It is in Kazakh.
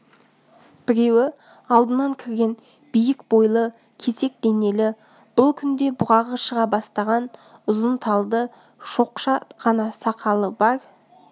біреуі алдынан кірген биік бойлы кесек денелі бұл күнде бұғағы шыға бастаған ұзын талды шоқша ғана сақалы бар